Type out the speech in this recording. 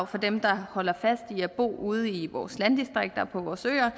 for dem der holder fast i at bo ude i vores landdistrikter og på vores øer